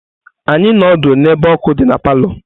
Anyị nnọdụ n'ebe ọkụ dị na palọ.